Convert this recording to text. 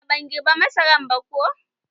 A'a, ban girba masaran ba ko